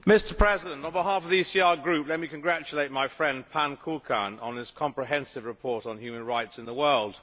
Mr President, on behalf of the ECR Group let me congratulate my friend pán Kukan on his comprehensive report on human rights in the world.